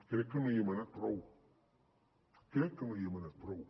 crec que no hi hem anat prou crec que no hi hem anat prou